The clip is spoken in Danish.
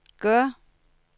gør